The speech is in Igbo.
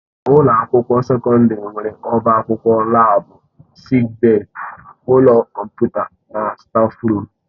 Ụlọ akwụkwọ sekọndrị nwere ọbá akwụkwọ, laabu, sịịk bèyí, ụlọ kọmputa na stáfruum.